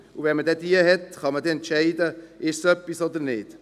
Wenn man diese hat, kann man entscheiden, ob es etwas ist oder nicht.